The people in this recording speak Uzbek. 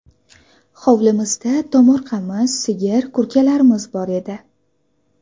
Hovlimizda tomorqamiz, sigir, kurkalarimiz bor edi.